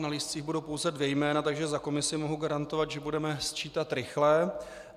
Na lístcích budou pouze dvě jména, takže za komisi mohu garantovat, že budeme sčítat rychle.